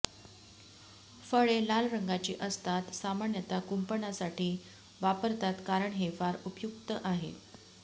फळे लाल रंगाची असतात सामान्यतः कुपंणासाठी वापरतात कारण हे फार उपयुक्त आहे